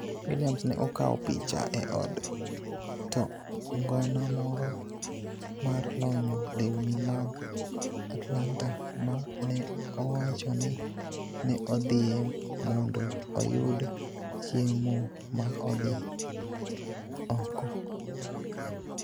Williams ne okaw picha e od to ngona moro mar lonyo lewni man Atlanta ma ne owacho ni ne odhie mondo oyud chiemo ma odhi odhi oko.